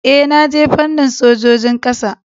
Ee, na je fannin sojojin kasa